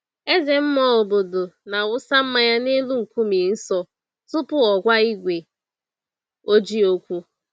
Eze mmụọ obodo na-awụsa mmanya n'elu nkume nsọ tupu ọ gwa igwe ojii okwu